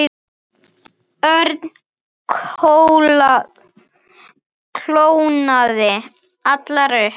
Örn kólnaði allur upp.